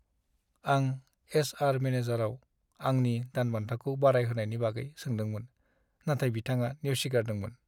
आं एचआर मेनेजारनाव आंनि दानबान्थाखौ बारायहोनायनि बागै सोंदोंमोन, नाथाय बिथाङा नेवसिगारदोंमोन।